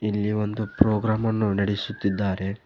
ಇಲ್ಲಿ ಒಂದು ಪ್ರೋಗ್ರಾಮ್ ಅನ್ನು ನಡೆಸುತ್ತಿದ್ದಾರೆ.